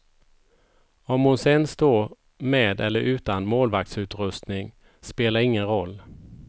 Om hon sen står med eller utan målvaktsutrustning spelar ingen roll.